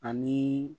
Ani